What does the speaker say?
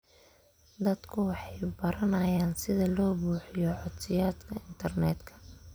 Dadku waxay baranayaan sida loo buuxiyo codsiyada internetka.